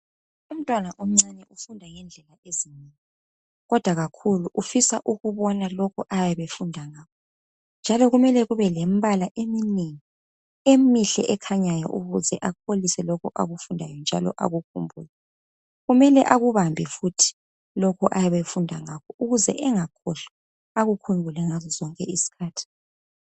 Umntwana omncane ufunda ngendlela ezinengi kodwa kakhulu ufisa ukubona lokho ayabe efunda ngakho njalo kumele kube lembala emnengi emihle ekhanyayo ukuze akholise lokho akufundayo njalo akukhumbule. Kumele akubambe futhi lokhu ayabe efunda ngakho ukuze engakhohlwa akukhumbuke ngazo zonke isikhathi.